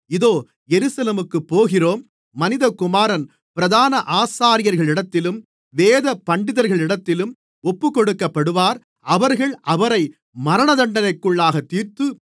இதோ எருசலேமுக்குப் போகிறோம் மனிதகுமாரன் பிரதான ஆசாரியர்களிடத்திலும் வேதபண்டிதரிடத்திலும் ஒப்புக்கொடுக்கப்படுவார் அவர்கள் அவரை மரணதண்டனைக்குள்ளாகத் தீர்த்து